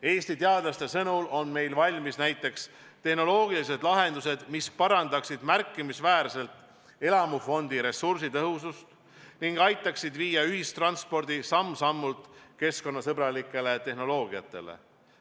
Eesti teadlaste sõnul on meil valmis näiteks tehnoloogilised lahendused, mis parandaksid märkimisväärselt elamufondi ressursitõhusust ning aitaksid viia ühistranspordi samm-sammult üle keskkonnasõbralikele tehnoloogiatele.